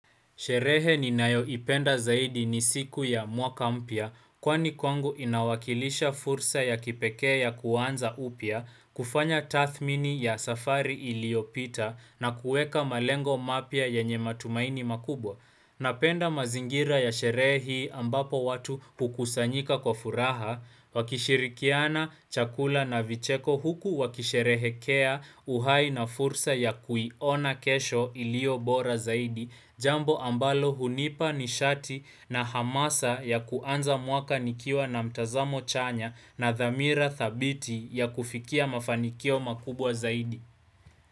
Sherehe ninayoipenda zaidi ni siku ya mwaka mpya kwani kwangu inawakilisha fursa ya kipekea kuanza upya kufanya tathmini ya safari iliyopita na kuweka malengo mapya yanye matumaini makubwa. Napenda mazingira ya sherehe hii ambapo watu hukusanyika kwa furaha, wakishirikiana chakula na vicheko huku wakisherehekea uhai na fursa ya kuiona kesho iliyo bora zaidi, jambo ambalo hunipa nishati na hamasa ya kuanza mwaka nikiwa na mtazamo chanya na dhamira thabiti ya kufikia mafanikio makubwa zaidi.